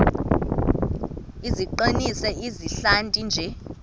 iqinise izihlathi nje